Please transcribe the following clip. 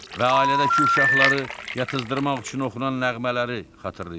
Və ailədəki uşaqları yatızdırmaq üçün oxunan nəğmələri xatırlayırdı.